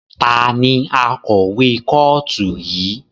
Ta ni akọ̀wé kọ́ọ̀tù yìí?